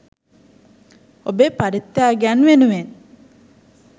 ඔබේ පරිත්‍යාගයන් වෙනුවෙන්